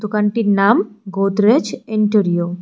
দোকানটির নাম গোদরেজ এন্টোরিয়ো ।